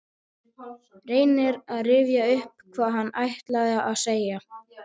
Reynir að rifja upp hvað hann ætlaði að segja.